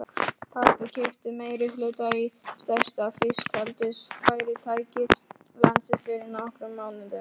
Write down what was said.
Pabbi keypti meirihluta í stærsta fiskeldisfyrirtæki landsins fyrir nokkrum mánuðum.